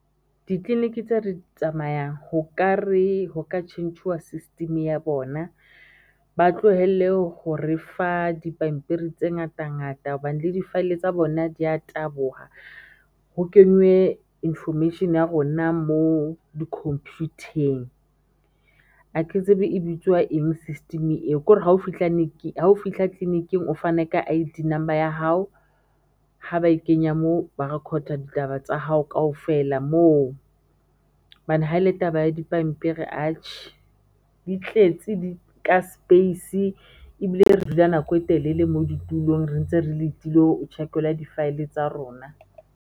Di-clinic tse re di tsamayang ho ka re ho ka tjhentjhuwa system ya bona, ba tlohelle ho re fa dipampiri tse ngata ngata hobane le di file tsa bona dia taboha ho kenywe information ya rona moo di computer-eng a ke tsebe e bitswa eng system eo ko re hao fihla clinic-ing o fane ka I_D number ya hao ha ba e kenya moo ba recorder ditaba tsa hao kaofela moo hobane ha ele taba ya dipampiri atjhe, di tletse di nka space ebile re dula nako e telele moo di tulong re ntse re letile ho tjhekelwa di file tsa rona.